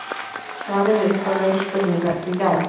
Svarið við upphaflegri spurningu er því já.